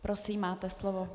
Prosím, máte slovo.